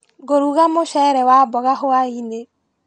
Ngũruga mũcere wa mboga hwainĩ.